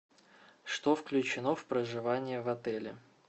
что включено в проживание в отеле